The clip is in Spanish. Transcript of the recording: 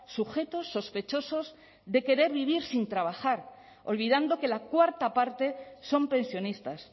sujetos sospechosos de querer vivir sin trabajar olvidando que la cuarta parte son pensionistas